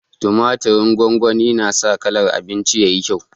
Tumaturin gongoni na sa kalar abinci yayi kyau